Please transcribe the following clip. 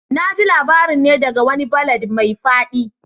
Na ji labarin ne daga wani ballad mai fadi